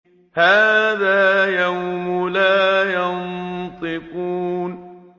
هَٰذَا يَوْمُ لَا يَنطِقُونَ